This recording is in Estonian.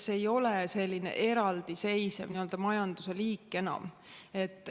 See ei ole enam selline eraldiseisev majanduse liik.